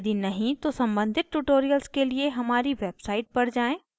यदि नहीं तो सम्बंधित tutorials के लिए हमारी website पर जाएँ